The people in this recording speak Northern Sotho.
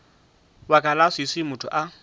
baka la leswiswi motho a